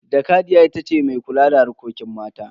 Jakadiya ita ce mai kula da harkokin mata.